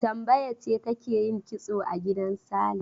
Tambaya ce take yin kitso a gidan Sale.